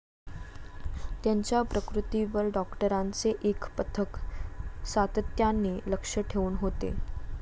त्यांच्या प्रकृतीवर डॉक्टरांचे एक पथक सातत्याने लक्ष ठेवून होते.